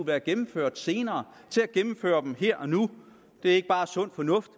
været gennemført senere og gennemføre dem her og nu det er ikke bare sund fornuft